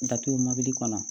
Datugu mobili kɔnɔ